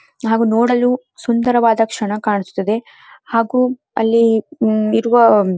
ಹಾಗು ನೋಡಲು ಸುಂದರವಾದ ಕ್ಷಣ ಕಾಣಿಸುತ್ತದೆ ಹಾಗು ಅಲ್ಲಿ ಇರುವ --